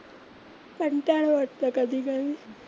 कंटाळा वाटतो कधी कधी.